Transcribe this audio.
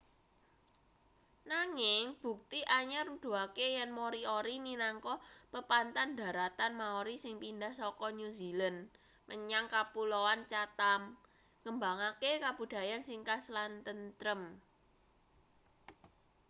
nanging bukti anyar nuduhake yen moriori minangka pepanthan dharatan maori sing pindah saka new zealand menyang kapuloan chatham ngembangake kabudayan sing khas lan tentrem